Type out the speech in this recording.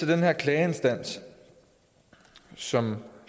den her klageinstans sådan